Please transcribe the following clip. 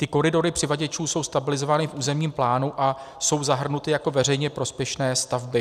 Ty koridory přivaděčů jsou stabilizovány v územním plánu a jsou zahrnuty jako veřejně prospěšné stavby.